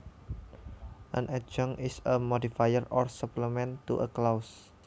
An adjunct is a modifier or supplement to a clause